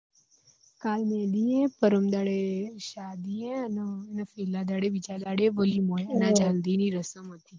કાલે મેહંદી હૈ પરમદાડે શાદી હૈ અને છેલા દાડે બીજા દાડે વલીમો હે અને આજે હલ્દી ની રસમ હતી